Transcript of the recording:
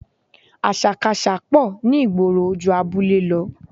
Àṣàkaṣà pọ̀ ní ìgboro ju abúlé lọ